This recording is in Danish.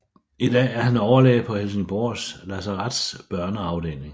I dag er han overlæge på Helsingborgs lasaretts børneafdeling